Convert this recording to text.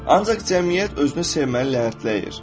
Ancaq cəmiyyət özünü sevməli lənətləyir.